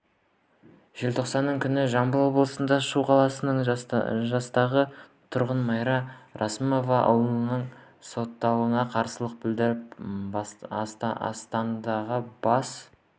желтоқсанның күні жамбыл облысы шу қаласының жастағы тұрғыны майра рысманова ұлының сотталуына қарсылық білдіріп астанадағы бас